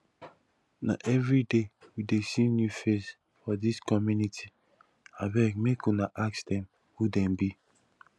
na everyday we dey see new face for dis community abeg make una ask dem who dem be